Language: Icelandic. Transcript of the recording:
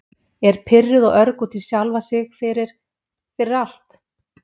Er pirruð og örg út í sjálfa sig fyrir- fyrir allt.